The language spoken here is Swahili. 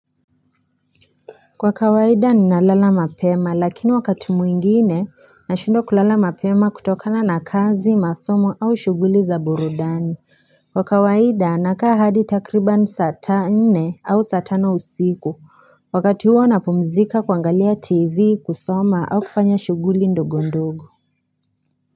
Kwa kawaida ninalala mapema lakini wakati mwingine nashindwa kulala mapema kutokana na kazi, masomo au shughuli za burudani. Kwa kawaida nakaa hadi takriban saa nne au saa tano usiku wakati huo napumzika kuangalia tv kusoma au kufanya shughuli ndogo ndogo.